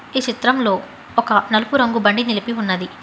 ఈ చిత్రంలో ఒక నలుపు రంగు బండి నిలిపి ఉన్నది.